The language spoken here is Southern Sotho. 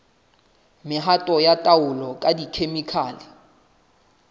mehato ya taolo ka dikhemikhale